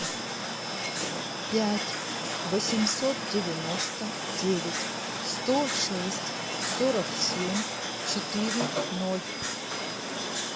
пять восемьсот девяносто девять сто шесть сорок семь четыре ноль